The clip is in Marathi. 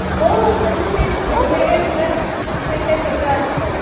हो म्हणजे तेच वेगवेगळ्या ठिकाणींना फक्तही काय वेगळं असत